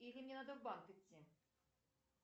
или мне надо в банк идти